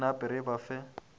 re nape re ba fe